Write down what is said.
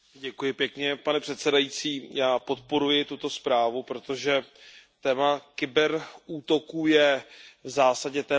Pane předsedající, já podporuji tuto zprávu, protože téma kyber útoků je v zásadě téma nové.